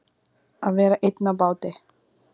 Að vera einn á báti